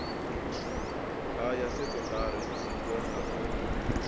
ha ya sekondari dzingo na